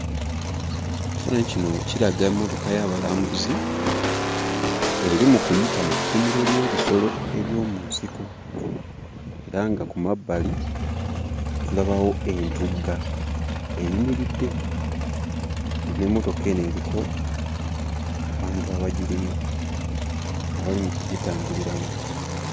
Ekifaananyi kino kiraga emmotoka y'abalambuzi eri mu kuyita mu kkuumiro ly'ebisolo eby'omu nsiko era nga ku mabbali tulabawo entugga eyimiridde, nga n'emmotoka eno eriko abantu abagirimu abali mu kugitambuliramu.